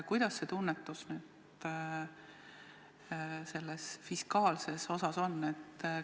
Milline on tunnetus selle fiskaalse osa suhtes?